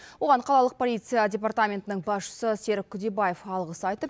оған қалалық полиция департаментінің басшысы серік күдебаев алғыс айтып